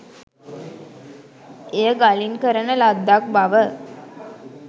එය ගලින් කරන ලද්දක් බව